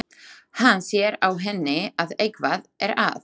Hann sér á henni að eitthvað er að.